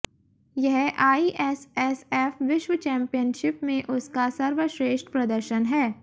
यह आईएसएसएफ विश्व चैंपियनशिप में उसका सर्वश्रेष्ठ प्रदर्शन है